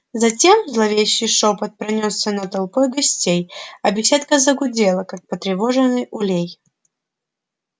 затем зловещий шёпот пронёсся над толпой гостей а беседка загудела как потревоженный улей